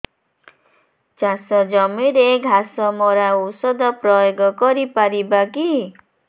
ଚାଷ ଜମିରେ ଘାସ ମରା ଔଷଧ ପ୍ରୟୋଗ କରି ପାରିବା କି